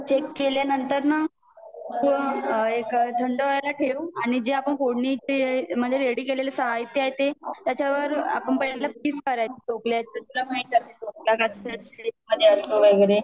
check केल्या नंतर न एक थंड व्हाययला ठेव आणि जे आपण फोड़नी ते म्हणजे रैडि केलेल साहित्य आहे त्याच्यावर आपण पहिल्यांदा पीस पाड़ायचे ढोकल्याचे तुला माहिती असेल ढोकला कोणत्या शेप मधे असतो वैगेरे